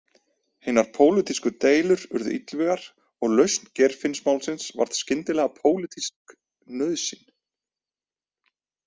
Hinar pólitísku deilur urðu illvígar og lausn Geirfinnsmálsins varð skyndilega pólitísk nauðsyn.